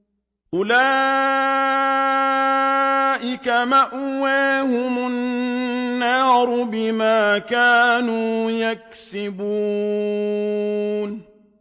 أُولَٰئِكَ مَأْوَاهُمُ النَّارُ بِمَا كَانُوا يَكْسِبُونَ